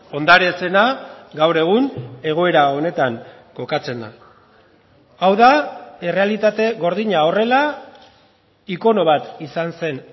ondare zena gaur egun egoera honetan kokatzen da hau da errealitate gordina horrela ikono bat izan zen